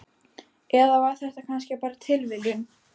Eða var þetta kannski bara tilviljun?